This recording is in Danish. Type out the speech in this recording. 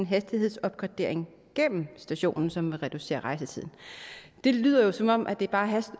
hastighedsopgradering gennem stationen som vil reducere rejsetiden det lyder jo som om det bare